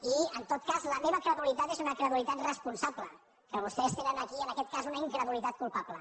i en tot cas la meva credulitat és una credulitat responsable que vostès tenen aquí en aquest cas una incredulitat culpable